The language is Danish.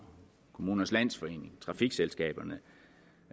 kommunernes landsforening og trafikselskaberne